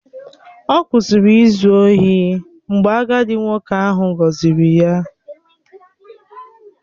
Ọ kwụsịrị izu ohi mgbe agadi nwoke ahụ gọzịrị ya